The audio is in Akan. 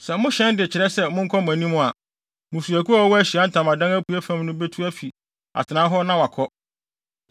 Sɛ mohyɛn de kyerɛ sɛ monkɔ mo anim a, mmusuakuw a wɔwɔ Ahyiae Ntamadan apuei fam no betu afi wɔn atenae hɔ na wɔakɔ.